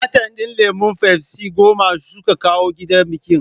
Katan din lemon fafsi goma suka kawo gidan bikin